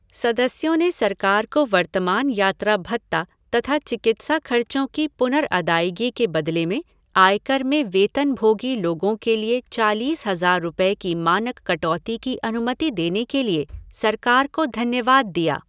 सदस्यों ने सरकार को वर्तमान यात्रा भत्ता तथा चिकित्सा खर्चों की पुनर्अदायगी के बदले में आयकर में वेतनभोगी लोगों के लिए चालीस हज़ार रुपये की मानक कटौती की अनुमति देने के लिए सरकार को धन्यवाद दिया।